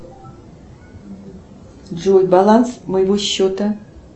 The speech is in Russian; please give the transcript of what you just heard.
джой баланс моего счета